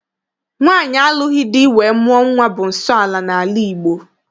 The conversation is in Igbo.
Nwaanyị alụghị di wee mụọ nwa bụ nsọala n'ala Igbo.